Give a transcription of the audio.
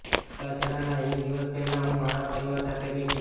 છૂટાછેડાનાં એક દિવસ પહેલાં હું મારા પરિવાર સાથે બેઠી